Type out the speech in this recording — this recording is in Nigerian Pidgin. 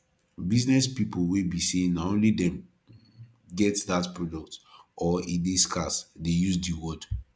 business pipo wey be say na only dem get that product or e de scarce de use di word